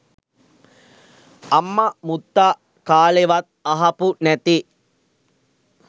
අම්ම මුත්තා කාලෙවත් අහපු නැති